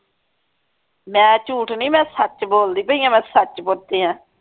ਮੈਂ ਝੂਠ ਨਹੀਂ ਮੈਂ ਸੱਚ ਬੋਲਦੀ ਪਈ ਆ ਮੈਂ ਸੱਚ ਆ